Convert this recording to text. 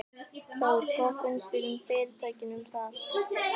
Þór: Hvað finnst fyrirtækinu um það?